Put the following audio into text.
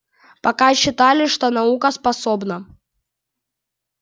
пока считали что наука способна